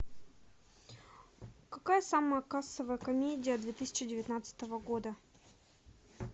какая самая кассовая комедия две тысячи девятнадцатого года